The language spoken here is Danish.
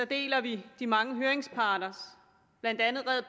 deler vi de mange høringsparters blandt andet red